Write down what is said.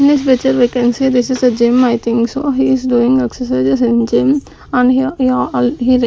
In this picture we can see this is a gym I think so he is doing exercises in gym and here --